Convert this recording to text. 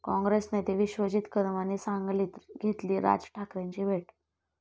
काँग्रेस नेते विश्वजीत कदमांनी सांगलीत घेतली राज ठाकरेंची भेट